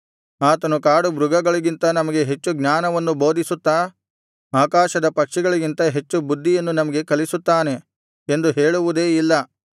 ಆತನು ಕಾಡು ಮೃಗಗಳಿಗಿಂತ ನಮಗೆ ಹೆಚ್ಚು ಜ್ಞಾನವನ್ನು ಬೋಧಿಸುತ್ತಾ ಆಕಾಶದ ಪಕ್ಷಿಗಳಿಗಿಂತ ಹೆಚ್ಚು ಬುದ್ಧಿಯನ್ನು ನಮಗೆ ಕಲಿಸುತ್ತಾನೆ ಎಂದು ಹೇಳುವುದೇ ಇಲ್ಲ